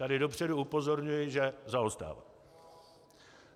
Tady dopředu upozorňuji, že zaostává.